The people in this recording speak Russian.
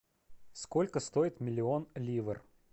сколько стоит миллион ливр